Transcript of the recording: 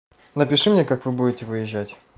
напиши мне как вы будете выезжать